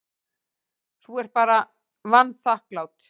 Þú ert bara vanþakklát.